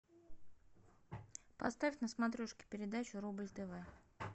поставь на смотрешке передачу рубль тв